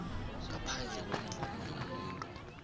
ngaphandle kwemvumo yomuntu